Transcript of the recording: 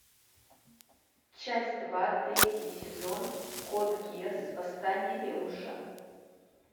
часть два третий сезон код гиас восстание лелуша